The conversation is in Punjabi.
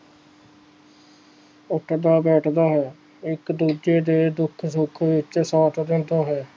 ਇਕ ਨਾਲ ਬੈਠਦਾ ਹੈ ਇਕ ਦੂਜੇ ਦੇ ਦੁੱਖ ਸੁਖ ਵਿਚ ਸਾਥ ਦਿੰਦਾ ਹੈ